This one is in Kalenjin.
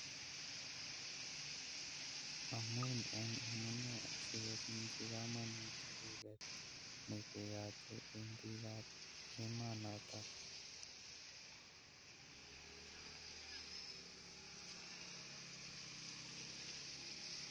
Amun eng amunee asikobunchi kamangut duket nekeyote eng biikab emonoto